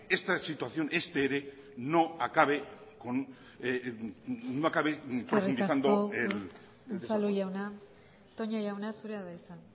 esta situación para que este ere no acabe profundizando el eskerrik asko unzalu jauna toña jauna zurea da hitza